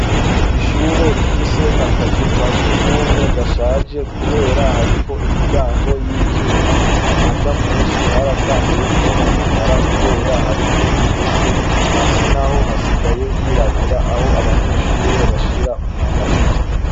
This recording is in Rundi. Ishure rifise akazu ka sugumwe gashaje kubera hariko imiryango yivyuma amaja munsi haratanguye kwononekara nkubera ko hariko ingese hasi naho hasigaye hirabura aho abanyeshure bisiga umwanda muto.